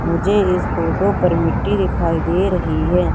मुझे इस फोटो पर मिट्टी दिखाई दे रही है।